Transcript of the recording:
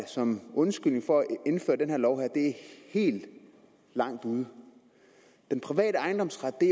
som undskyldning for at indføre den her lov er helt langt ude den private ejendomsret